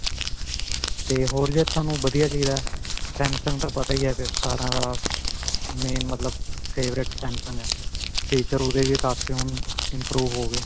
ਤੇ ਹੋਰ ਜੇ ਤੁਹਾਨੂੰ ਵਧੀਆ ਚਾਹੀਦਾ Samsung ਤਾਂ ਪਤਾ ਹੀ ਹੈ ਫਿਰ ਸਾਰਿਆਂ ਦਾ main ਮਤਲਬ favorite Samsung ਹੈ feature ਓਹਦੇ ਵੀ ਕਾਫੀ ਹੁਣ improve ਹੋ ਗਏ.